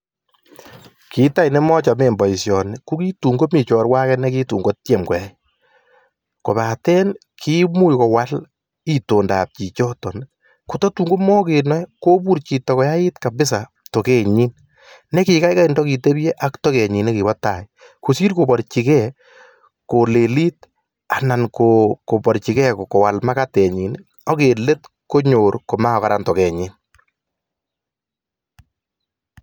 Kit nemochome boisyoni, kokiyai chorwa nenyi kowechok kabisa amuu en let makararan toket nyii